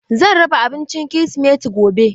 Zan raba abinci kirisimeti gobe.